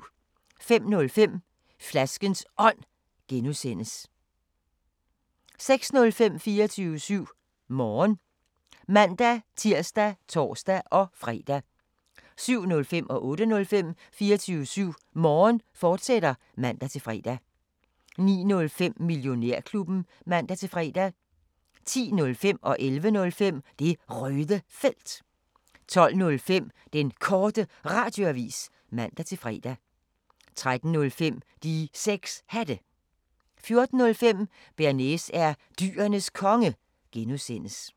05:05: Flaskens Ånd (G) 06:05: 24syv Morgen (man-tir og tor-fre) 07:05: 24syv Morgen, fortsat (man-fre) 08:05: 24syv Morgen, fortsat (man-fre) 09:05: Millionærklubben (man-fre) 10:05: Det Røde Felt 11:05: Det Røde Felt 12:05: Den Korte Radioavis (man-fre) 13:05: De 6 Hatte 14:05: Bearnaise er Dyrenes Konge (G)